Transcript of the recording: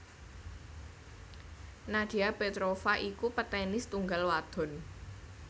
Nadia Petrova iku petenis tunggal wadon